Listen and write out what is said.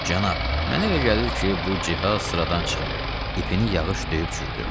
"Cənab, mənə elə gəlir ki, bu cihaz sıradan çıxıb, ipini yağış döyüb çürüdüb."